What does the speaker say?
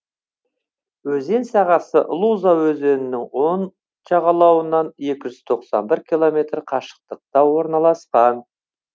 өзен сағасы луза өзенінің оң жағалауынан екі жүз тоқсан бір километр қашықтықта орналасқан